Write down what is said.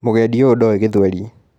Mũgendi ũyũ ndoĩ githweri.